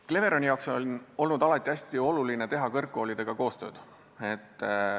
Cleveroni jaoks on olnud alati hästi oluline teha kõrgkoolidega koostööd.